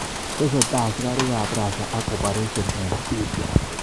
Tesetei askarik ab Rasia ak operesyen eng Syria